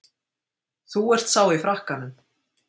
Þú ert sá í frakkanum.